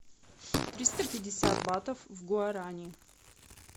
триста пятьдесят батов в гуарани